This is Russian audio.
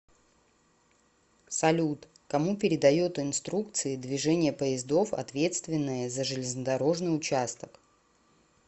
салют кому передают инструкции движения поездов ответственные за железнодорожный участок